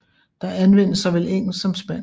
Der anvendes såvel engelsk som spansk